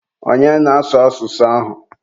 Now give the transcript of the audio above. onye na-asụ asụsụ ahụ?